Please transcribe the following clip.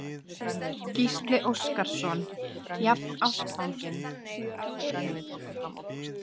Gísli Óskarsson: Jafnástfanginn?